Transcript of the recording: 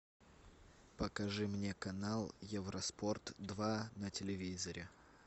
покажи мне канал евроспорт два на телевизоре